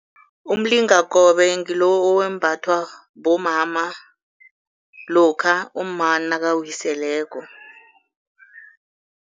Umlingakobe ngilo owembathwa bomama lokha umma nakawiseleko.